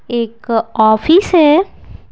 एक ऑफिस है --